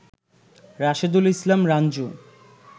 Rashedul Islam Ranju